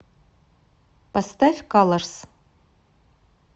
поставь калорс